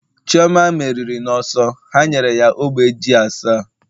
chioma meriri n'ọsọ, ha nyere ya ogbe ji asa